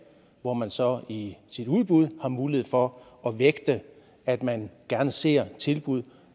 hvor man så i sit udbud har mulighed for at vægte at man gerne ser tilbud